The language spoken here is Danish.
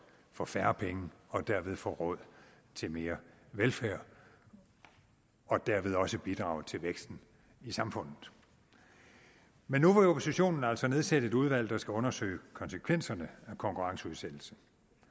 for færre penge og dermed få råd til mere velfærd og dermed også bidrage til væksten i samfundet men nu vil oppositionen altså nedsætte et udvalg der skal undersøge konsekvenserne af konkurrenceudsættelse